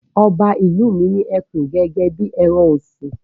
Ọba ìlú mi ní ẹkùn gẹ́gẹ́ bí ẹran-ọ̀sìn.